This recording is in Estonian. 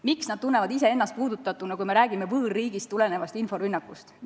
Miks nad tunnevad ennast puudutatuna, kui me räägime võõrriigist lähtuvast inforünnakust?